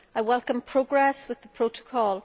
I welcome progress with the Protocol.